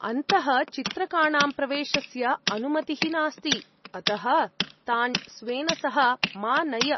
अन्तः चित्रकाणां प्रवेशस्य अनुमतिः नास्ति अतः तान् स्वेन सह मा नय।